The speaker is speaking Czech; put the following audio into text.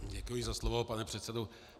Děkuji za slovo, pane předsedo.